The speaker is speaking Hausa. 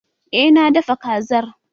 Eh na dafa Kazar